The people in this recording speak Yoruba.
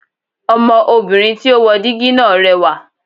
Ọmọ obìnrin tí ó wo dígí náà rẹwà